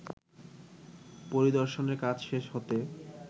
পরিদর্শনের কাজ শেষ হতে